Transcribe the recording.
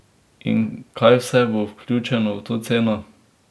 In kaj vse bo vključeno v to ceno?